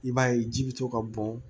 I b'a ye ji bɛ to ka bɔn